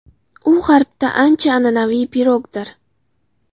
U G‘arbda ancha an’anaviy pirogdir.